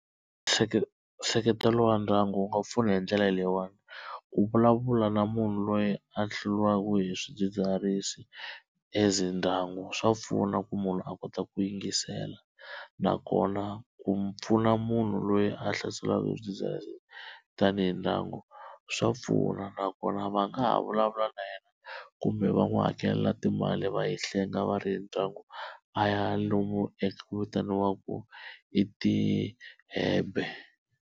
nseketelo wa ndyangu wu nga pfuna hi ndlela leyiwani ku vulavula na munhu loyi a hluliwaku hi swidzidziharisi as ndyangu swa pfuna ku munhu a kota ku yingisela, nakona ku pfuna munhu loyi a hlaseriwaka hi swidzidziharisi leswi tanihi ndyangu swa pfuna, nakona va nga ha vulavula na yena kumbe va n'wi hakela timali va yi hlenga va ri ndyangu a ya lomu eku vitaniwaku ei-rehab-e.